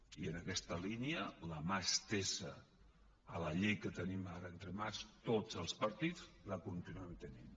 i en aquesta línia la mà estesa a la llei que tenim ara entre mans tots els partits la continuaran tenint